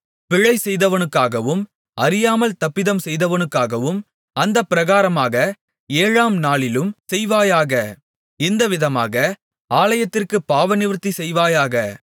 பிழைசெய்தவனுக்காகவும் அறியாமல் தப்பிதம் செய்தவனுக்காகவும் அந்தப்பிரகாரமாக ஏழாம் நாளிலும் செய்வாயாக இந்த விதமாக ஆலயத்திற்குப் பாவநிவர்த்தி செய்வாயாக